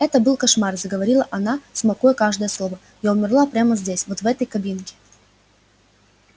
это был кошмар заговорила она смакуя каждое слово я умерла прямо здесь вот в этой кабинке